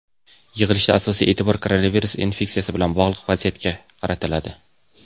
Yig‘ilishda asosiy e’tibor koronavirus infeksiyasi bilan bog‘liq vaziyatga qaratiladi.